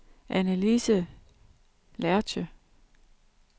Annelise Lerche